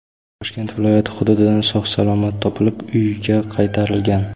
Toshkent viloyati hududidan sog‘-salomat topilib, uyiga qaytarilgan.